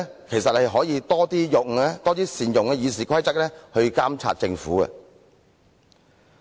其實，他可以多善用《議事規則》來監察政府。